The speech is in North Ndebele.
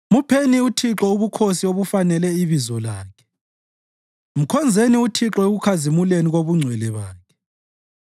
Mupheni uThixo ubukhosi obufanele ibizo lakhe; mkhonzeni uThixo ekukhazimuleni kobungcwele bakhe.